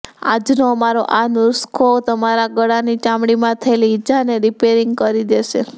આજનો અમારો આ નુસખો તમારા ગળાની ચામડી માં થયેલી ઈજા ને રીપેરીંગ કરી દેશે